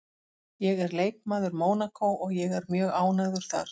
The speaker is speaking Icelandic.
Ég er leikmaður Mónakó og ég er mjög ánægður þar